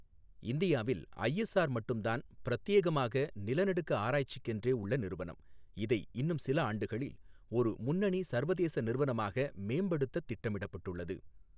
இந்தியாவில் ஐஎஸ்ஆர் மட்டும் தான் பிரத்யேகமாக நிலநடுக்க ஆராய்ச்சிக்கென்றே உள்ள நிறுவனம், இதை இன்னும் சில ஆண்டுகளில் ஒரு முன்னணி சர்வதேச நிறுவனமாக மேம்படுத்தத் திட்டமிடப்பட்டுள்ளது.